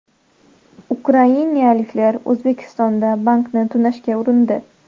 Ukrainaliklar O‘zbekistonda bankni tunashga urindi.